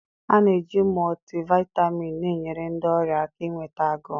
A na-eji multivitamin na-enyere ndị ọrịa aka inweta agụụ.